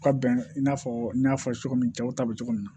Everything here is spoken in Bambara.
Ka bɛn i n'a fɔ n y'a fɔ cogo min cɛw ta bɛ cogo min na